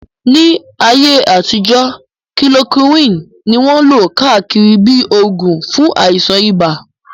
Ní ayé àtijọ́, kilorokíwìn ní wọ́n lò káàkiri bíi oògùn fún àìsàn ibà